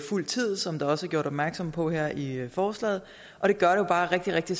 fuld tid som der også er gjort opmærksom på her i forslaget og det gør det bare rigtig rigtig